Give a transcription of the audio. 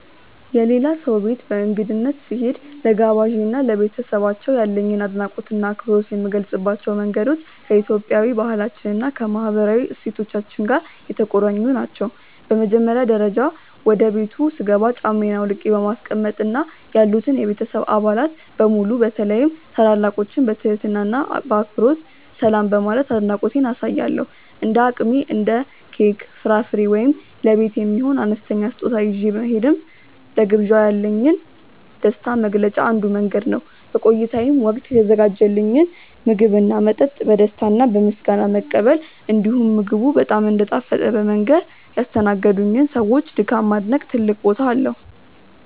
የሌላ ሰው ቤት በእንግድነት ስሄድ፣ ለጋባዤ እና ለቤተሰባቸው ያለኝን አድናቆትና አክብሮት የምገልጽባቸው መንገዶች ከኢትዮጵያዊ ባህላችን እና ከማህበራዊ እሴቶቻችን ጋር የተቆራኙ ናቸው። በመጀመሪያ ደረጃ፣ ወደ ቤቱ ስገባ ጫማዬን አውልቄ በማስቀመጥ እና ያሉትን የቤተሰብ አባላት በሙሉ በተለይም ታላላቆችን በትህትና እና በአክብሮት ሰላም በማለት አድናቆቴን አሳያለሁ። እንደ አቅሜ እንደ ኬክ፣ ፍራፍሬ ወይም ለቤት የሚሆን አነስተኛ ስጦታ ይዤ መሄድም ለግብዣው ያለኝን ደስታ መግለጫ አንዱ መንገድ ነው። በቆይታዬም ወቅት የተዘጋጀልኝን ምግብና መጠጥ በደስታ እና በምስጋና መቀበል፣ እንዲሁም ምግቡ በጣም እንደጣፈጠ በመንገር ያስተናገዱኝን ሰዎች ድካም ማድነቅ ትልቅ ቦታ አለው።